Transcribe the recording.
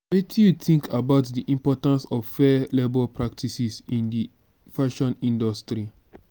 wetin you think about di importance of fair labor practices in di fashion industry?